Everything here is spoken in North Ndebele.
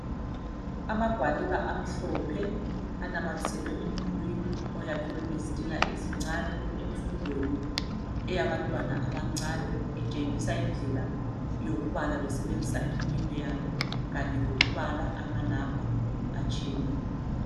Amagwaliba amhlophe anama thiselwe emdulwini oyakhiwe ngezitina ezincane emfundweni yabantwana abancane itshengisa indlela yokubala besebenzisa iminwe yabo kanye lokubala amanamba atshiyeneyo.